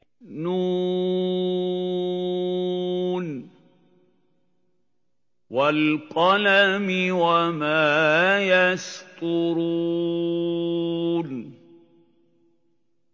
ن ۚ وَالْقَلَمِ وَمَا يَسْطُرُونَ